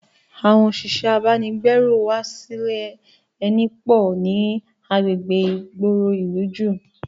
Àwọn òṣìṣẹ́ abánigbérù wá sílẹ eni pò ní agbègbè ìgboro ìlú ju